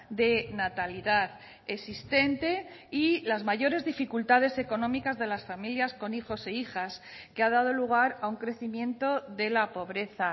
de natalidad existente y las mayores dificultades económicas de las familias con hijos e hijas que ha dado lugar a un crecimiento de la pobreza